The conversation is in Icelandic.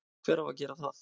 hver á þá að gera það?